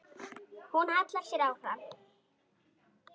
Hún hallar sér fram.